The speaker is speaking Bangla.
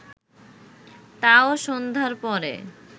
তাও সন্ধ্যার পরে